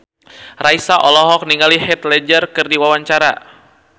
Raisa olohok ningali Heath Ledger keur diwawancara